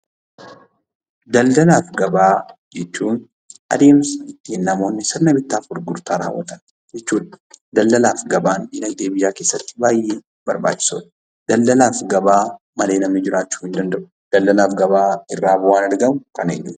Daldalaa fi gabaa jechuun adeemsa ittiin namoonni sirna bittaa fi gurgurtaa raawwatan jechuudha. Daldalaa fi gabaan dinagdee biyyaa keessatti baay'ee barbaachisoodha. Daldalaa fi gabaa malee namni jiraachuu hin danda'u. Daldalaa fi gabaa irraa bu'aan argamu kan eenyuuti?